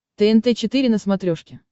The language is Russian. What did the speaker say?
тнт четыре на смотрешке